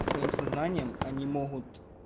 своим сознанием они могут